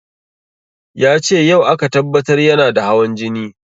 Yace yau aka tabbatar yana da hawan jini